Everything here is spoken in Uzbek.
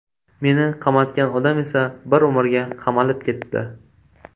Meni qamatgan odam esa bir umrga qamalib ketdi.